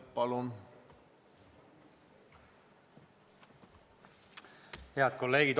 Head kolleegid!